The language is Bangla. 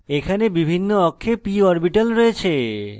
এখানে বিভিন্ন অক্ষে p orbitals রয়েছে